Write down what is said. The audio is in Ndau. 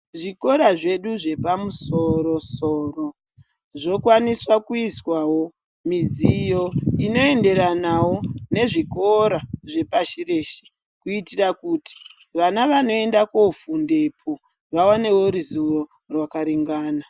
Zvikora zvedu zvepamusoro-soro zvokwaniswa kuiswawo midziyo inoenderanawo nezvikora zvepashireshe, kuitira kuti vana vanoende kofundepo vawanewo ruzivo rwakaringana.